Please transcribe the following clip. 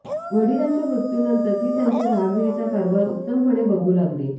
वडिलांच्या मृत्यूनंतर ती त्यांच्या जहागिरीचा कारभार उत्तमपणे बघू लागली